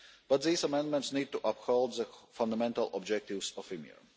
But these amendments need to uphold the fundamental objectives of